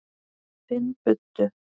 Finn buddu.